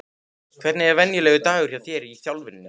Hvernig er venjulegur dagur hjá þér í þjálfuninni?